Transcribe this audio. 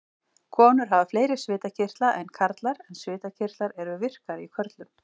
Konur hafa fleiri svitakirtla en karlar en svitakirtlar eru virkari í körlum.